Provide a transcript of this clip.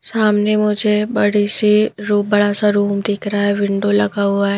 सामने मुझे बड़ी सी रूम बड़ा सा रूम दिख रहा है विंडो लगा हुआ है।